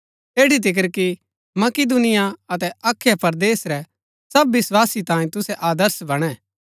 ऐठी तिकर कि मकिदुनिया अतै अखया परदेस रै सब विस्वासी तांई तुसै आदर्श बणै